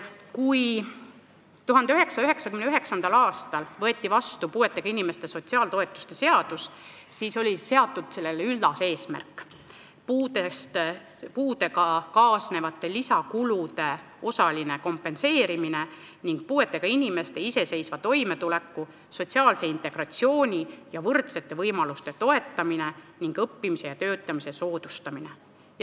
Kui 1999. aastal võeti vastu puuetega inimeste sotsiaaltoetuste seadus, siis oli sellele seatud üllas eesmärk: puudega kaasnevate lisakulude osaline kompenseerimine ning puuetega inimeste iseseisva toimetuleku, sotsiaalse integratsiooni ja võrdsete võimaluste toetamine ning õppimise ja töötamise soodustamine.